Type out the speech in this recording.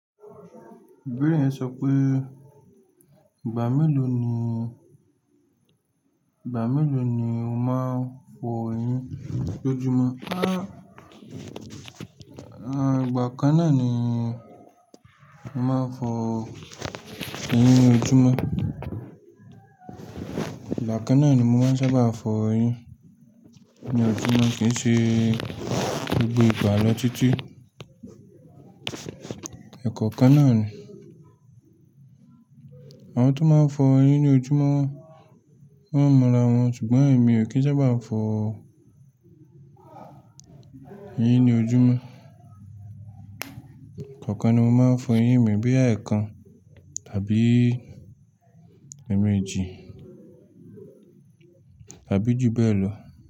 Ìbéèrè yẹn sọ pé, "Ìgbà mélòó ni, ìgbà mélòó ni o máa ń fọ eyín lójúmọ́?" Àn, ìgbà kan náà ni mo máa ń fọ eyín lójúmọ́. Ìgbà kan náà ni mo máa ń sábà fọ eyín ní ojúmọ́ kì í ṣe gbogbo ìgbà lọ títí. Ẹ̀ẹ̀kọ́ kan náà ni. Àwọn tó máa ń fọ eyín ní ojúmọ́ wọ́n mọ́ra wọn ṣùgbọ́n èmi ò kí ń sábà fọ eyín ní ojúmọ́. Ẹ̀ẹ̀kan ni mo máa ń fọ eyín mi bóyá àẹ̀kan tàbí ẹ̀ẹ̀mejì tàbí ju bẹ́ẹ̀ lọ.